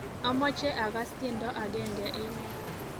Amache akass tiendo agenge eng yu